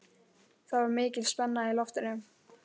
Það var mikil spenna í loftinu.